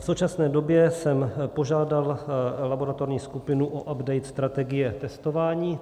V současné době jsem požádal laboratorní skupinu o update strategie testování.